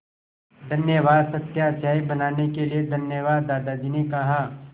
धन्यवाद सत्या चाय बनाने के लिए धन्यवाद दादाजी ने कहा